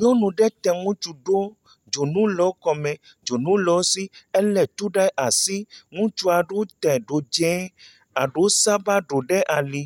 Nyɔnu ɖe tɛ ŋutsu ɖo. Dzonu le wo kɔme, dzonu le wo si, elé tu ɖe asi. Ŋutsu ɖe tɛ ɖo dzẽ, aɖewo saba ɖowo ɖe ali.